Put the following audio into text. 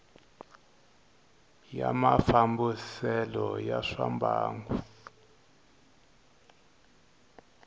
ya mafambisele ya swa mbangu